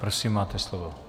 Prosím, máte slovo.